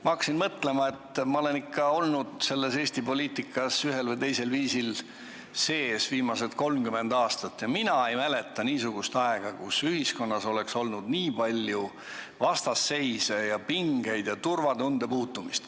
Ma hakkasin mõtlema, et ma olen Eesti poliitikas ühel või teisel viisil sees olnud viimased 30 aastat ja mina ei mäleta niisugust aega, kus ühiskonnas oleks olnud nii palju vastasseise ja pingeid ja turvatunde puudumist.